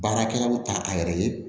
Baarakɛlaw ta a yɛrɛ ye